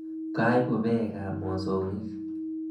Kaibu peekab mosongik.